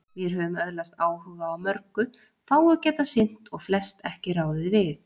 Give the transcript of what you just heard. Vér höfum öðlast áhuga á mörgu, fáu getað sinnt og flest ekki ráðið við.